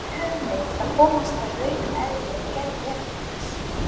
Hvaða leiðir höfum við til að komast að raun um eðli og gerð veruleikans?